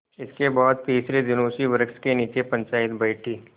इसके बाद तीसरे दिन उसी वृक्ष के नीचे पंचायत बैठी